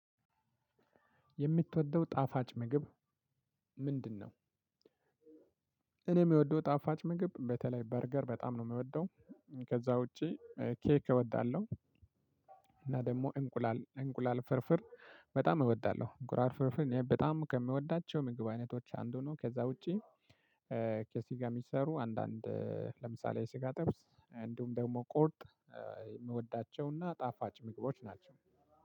የምትወደው ጣፋጭ ምግብ ምንድነው? እኔ የምወደው ጣፋጭ ምግብ በተለይ በርገር በጣም ነው የምወደው። ከዛ ውጪ ኬክ እወዳለሁ። እና ደግሞ እንቁላል እንቁላል ፍርፍር በጣም እወዳለሁ። እንቁላል ፍርፍር እኔ በጣም ከምወዳቸው ምግብ አይነቶች አንዱ ነው። ከዛ ውጪ ከስጋ የሚሰሩ አንዳንድ ለምሳሌ የስጋ ጥብስ እንዲሁም ደግሞ ቁርጥ የምወዳቸውና ጣፋጭ ምግቦች ናቸው።